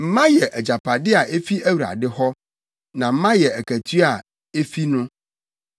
Mma yɛ agyapade a efi Awurade hɔ, na mma yɛ akatua a efi no.